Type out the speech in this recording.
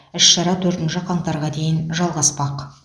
іс шара төртінші қаңтарға дейін жалғаспақ